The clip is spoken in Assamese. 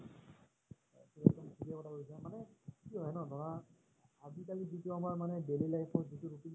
কি হয় ন ধৰা আজিকালি মানে যিতো আমাৰ মানে daily life ৰ যিতো routine